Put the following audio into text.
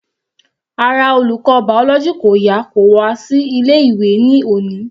Ara olùkọ́ biology kò yá kò wá sí ilé ìwé ní òní.